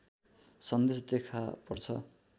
सन्देश देखापर्छ